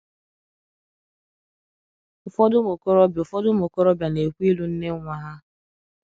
Ụfọdụ ụmụ okorobịa Ụfọdụ ụmụ okorobịa na-ekwe ịlụ nne nwa ha.